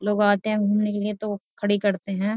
लोग आते हैं घूमने के लिए तो खड़ी करते है।